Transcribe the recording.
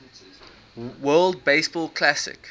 world baseball classic